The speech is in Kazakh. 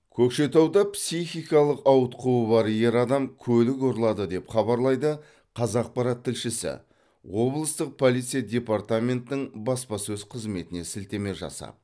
көкшетауда психикалық ауытқуы бар ер адам көлік ұрлады деп хабарлайды қазақпарат тілшісі облыстық полиция департаментінің баспасөз қызметіне сілтеме жасап